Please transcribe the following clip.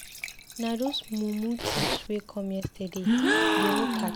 Na those mumu thieves wey come yesterday, dey no catch dem.